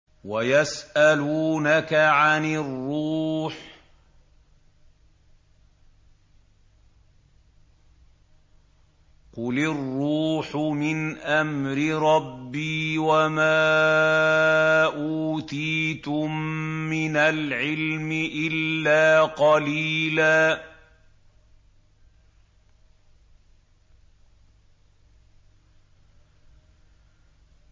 وَيَسْأَلُونَكَ عَنِ الرُّوحِ ۖ قُلِ الرُّوحُ مِنْ أَمْرِ رَبِّي وَمَا أُوتِيتُم مِّنَ الْعِلْمِ إِلَّا قَلِيلًا